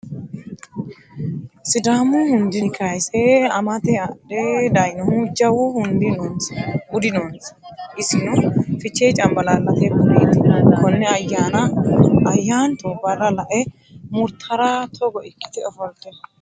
Sidaamu hundinni kayise amate adhe daayinohu jawu budi noonsa isino fichee cambalaallate budeti kone ayyanna ayanto barra lae murtara togo ikkite ofollittano.